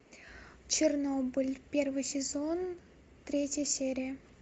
чернобыль первый сезон третья серия